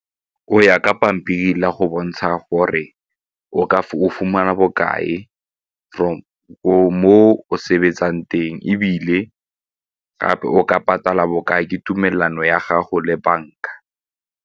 O ya ka pampiri la go bontsha gore o fumana bokae from moo o sebetsang teng ebile gape o ka patala bokae ke tumelano ya gago le banka.